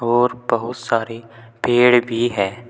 और बहुत सारी पेड़ भी हैं।